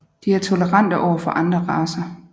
De er tolerante overfor andre racer